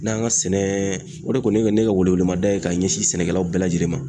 N'an ka sɛnɛ o de kun ye ne ka ne ka welemada ye ka ɲɛsin sɛnɛkɛlaw bɛɛ lajɛlen ma